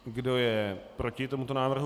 Kdo je proti tomuto návrhu?